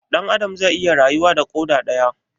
Dan Adam zai iya rayuwa da koda daya?